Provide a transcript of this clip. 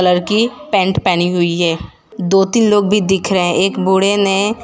लड़की पैंट पहनी हुई है दो तीन लोग भी दिख रहे हैं एक बूढ़े ने --